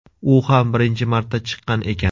U ham birinchi marta chiqqan ekan.